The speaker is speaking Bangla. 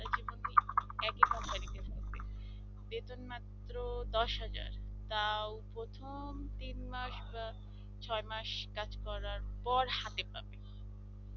বেতন মাত্রই দশ হাজার তাও প্রথম তিন মাস বা ছয় মাস কাজ করার পর হাতে পাবে।